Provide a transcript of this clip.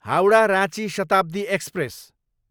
Howrah, Ranchi Shatabdi express